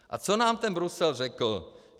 A co nám ten Brusel řekl?